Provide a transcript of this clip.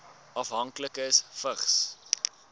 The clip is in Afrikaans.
afhanklikes vigs